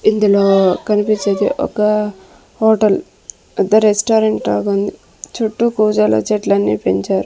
ఇందులో కనిపించేది ఒక హోటల్ పెద్ద రెస్టారెంట్ లాగా ఉంది చుట్టూ కూజలు చెట్లన్నీ పెంచారు.